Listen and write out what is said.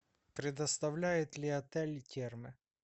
предоставляет ли отель термы